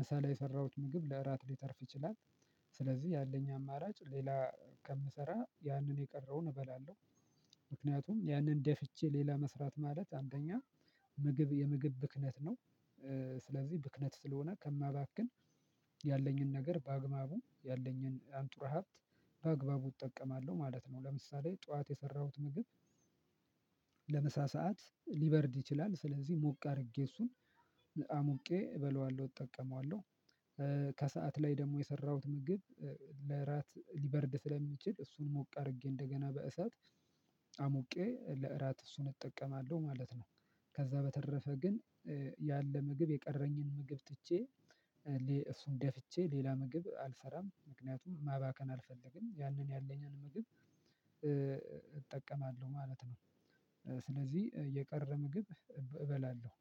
ምሳ ላይ የሰራሁት ምግብ ለእራት ሊተርፍ ይችላል፤ ስለዚህ ያለኝ አማራጭ ሌላ ከምሰራ ያንን የቀረውን እበላለሁ። ምክንያቱም ያንን ደፍቼ ሌላ መስራት ማለት አንደኛ ምግብ የምግብ ብክነት ነው። ስለዚህ ብክነት ስለሆነ ከማባክን ያለኝን ነገር በአግባቡ ያለኝን አንጡረ ሀብት በአግባቡ እጠቀማለሁ ማለት ነው። ለምሳሌ ጠዋት የሰራሁት ምግብ ለምሳ ሰዓት ሊበርድ ይችላል፤ ስለዚህ ሞቅ አድርጌ እሱን አሙቄ እበለዋለሁ እጠቀመዋለሁ። ከሰአት ላይ ደግሞ የሰራሁት ምግብ ለእራት ልበርድ ስለሚችል እሱን ሞቅ አድርጌ እንደገና በእሳት አሞቄ ለእራት እሱን እጠቀማለሁ ማለት ነው። ከዛ በተረፈ ግን ያለ ምግብ የቀረኝን ምግብ ትቼ እሱን ደፍቼ ሌላ ምግብ አልሰራም። ምክንያቱም ማባከን አልፈልግም ያንን ያለኝን ምግብ እጠቀማለሁ ማለት ነው። ስለዚህ የቀረ ምግብ እብ እበላለሁ።